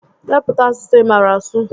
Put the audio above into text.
Depụta asụsụ ị maara asụ!